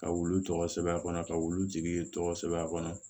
Ka wulu tɔgɔ sɛbɛn a kɔnɔ ka wulu jigi tɔgɔ sɛbɛn a kɔnɔ